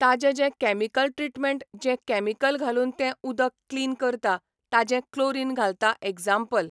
ताजें जें chemical treatment जें कॅमिकल घालून तें उदक क्लीन करता, ताजें क्लोरीन घालता एग्जाम्पल .